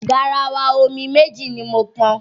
Garawa omi méjì ni mo pọn.